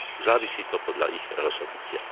Závisí to podľa ich rozhodnutia.